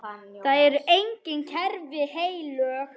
Það eru engin kerfi heilög.